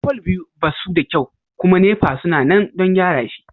fol biyu ba suda kyau kuma NEPA suna nan don gyara shi.